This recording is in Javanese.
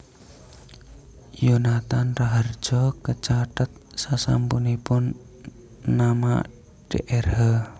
Yonathan Rahardjo kecathet sasampunipun nama Drh